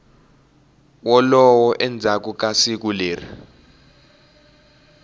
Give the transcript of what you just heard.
wolowo endzhaku ka siku leri